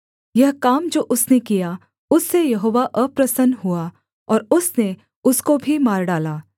यह काम जो उसने किया उससे यहोवा अप्रसन्न हुआ और उसने उसको भी मार डाला